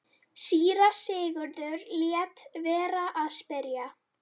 Síra Sigurður lét vera að spyrja.